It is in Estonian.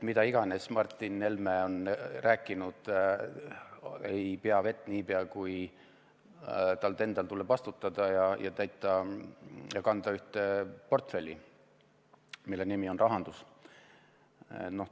Mida iganes Martin Helme on rääkinud, ei pea vett, niipea kui tal endal tuleb vastutada ja kanda ühte portfelli, mille nimi on rahandus.